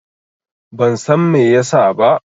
Ban San Mai ya sa ba.